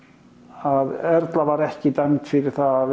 að Erla var ekki dæmd fyrir það að